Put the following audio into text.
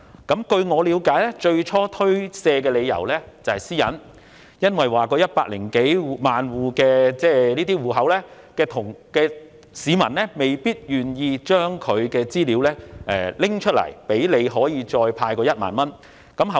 據我了解，他最初推卻的理由是個人私隱問題，因為這些領取綜援人士及長者未必願意將資料交給政府作為派發1萬元的用途。